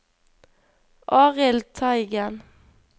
Arild Teigen